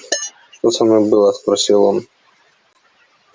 что со мной было спросил он